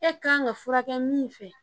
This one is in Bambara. E kan ka furakɛ min fɛ